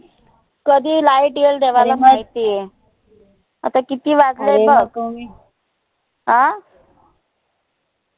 कधी light येईल देवाला माहिती आय. आता किती वाजले अं